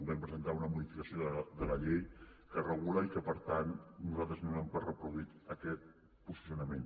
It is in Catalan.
vam presentar una modificació de la llei que ho regula i per tant nosaltres donem per reproduït aquest posicionament